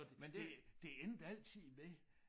Det det endte altid med